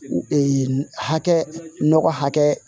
hakɛ nɔgɔ hakɛ